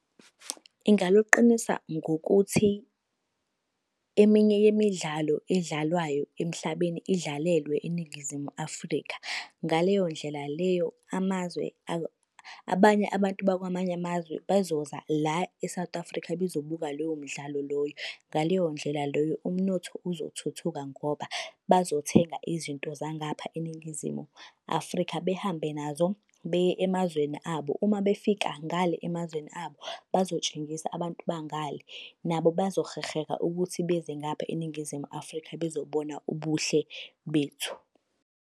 Ingaluqinisa ngokuthi, eminye yemidlalo edlalwayo emhlabeni idlalelwe eNingizimu Afrika. Ngaleyo ndlela leyo, amazwe abanye abantu bakwamanye amazwe bazoza la e-South Africa bezobuka lowo mdlalo loyo. Ngaleyo ndlela loyo umnotho uzothuthuka ngoba bazothenga izinto zangapha eNingizimu Afrika behambe nazo beye emazweni abo. Uma befika ngale emazweni abo, bazotshengisa abantu banga le. Nabo bazoheheka ukuthi beze ngapha eNingizimu Afrika bezobona ubuhle bethu.